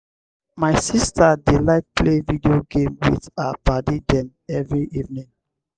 my sista dey like play video game wit her paddy dem every evening.